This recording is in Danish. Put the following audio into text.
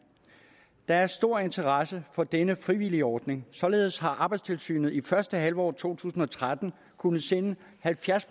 der er stor interesse for denne frivillige ordning således har arbejdstilsynet i første halvår to tusind og tretten kunnet sende halvfjerds